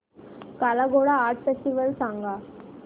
काला Ghoda art festival सांग